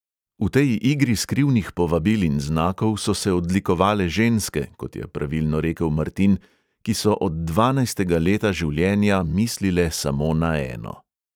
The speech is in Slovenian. V tej igri skrivnih povabil in znakov so se odlikovale ženske, kot je pravilno rekel martin, ki so od dvanajstega leta življenja mislile samo na eno.